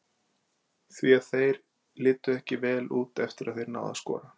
Því að þeir litu ekki vel út eftir að þeir náðu að skora.